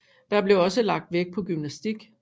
Der blev også lagt vægt på gymnastik